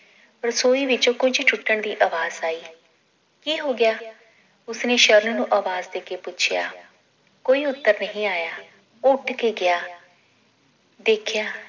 ਰਸੋਈ ਵਿਚੋਂ ਕੁਝ ਟੁੱਟਣ ਦੀ ਅਵਾਜ ਆਈ ਕੀ ਹੋਗਿਆ ਉਸਨੇ ਸ਼ਰਨ ਨੂੰ ਆਵਾਜ਼ ਦੇਕੇ ਪੁੱਛਿਆ ਕੋਈ ਉੱਤਰ ਨਹੀ ਆਇਆ ਉਹ ਉੱਠ ਕੇ ਗਿਆ ਦੇਖਿਆ